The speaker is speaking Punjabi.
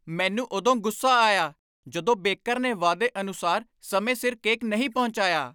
ਮੈਨੂੰ ਉਦੋਂ ਗੁੱਸਾ ਆਇਆ ਜਦੋਂ ਬੇਕਰ ਨੇ ਵਾਅਦੇ ਅਨੁਸਾਰ ਸਮੇਂ ਸਿਰ ਕੇਕ ਨਹੀਂ ਪਹੁੰਚਾਇਆ।